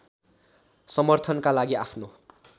समर्थनका लागि आफ्नो